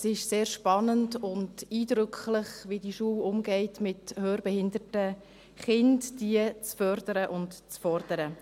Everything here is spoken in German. Es ist sehr spannend und eindrücklich, wie diese Schule mit hörbehinderten Kindern umgeht und sie fördert und fordert.